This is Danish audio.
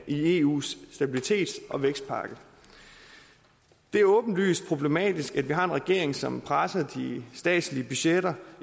i eus stabilitets og vækstpakke det er åbenlyst problematisk at vi har en regering som presser de statslige budgetter